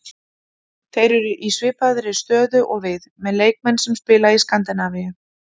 Þeir eru í svipaðri stöðu og við, með leikmenn sem spila í Skandinavíu.